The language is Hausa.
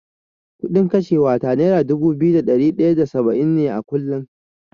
Kuɗin kashewa ta nera dubu biyu da ɗari ɗaya da saba’in a kullum.